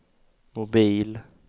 mobil